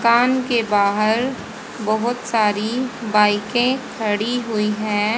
कान के बाहर बहोत सारी बाइकें खड़ी हुई हैं।